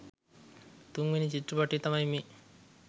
තුන්වෙනි චිත්‍රපටිය තමයි මේ.